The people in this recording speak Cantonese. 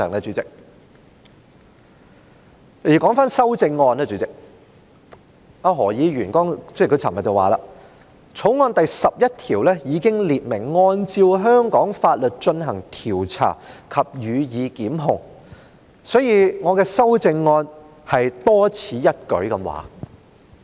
主席，說回修正案，何議員昨天說《條例草案》第11條已經列明"按照香港法律進行調查及予以檢控"，所以，我的修正案是多此一舉。